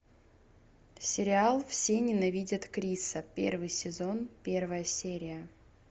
сериал все ненавидят криса первый сезон первая серия